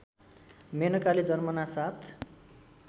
मेनकाले जन्मनासाथ